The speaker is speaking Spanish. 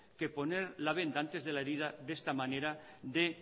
que poner la venda antes de la herida de esta manera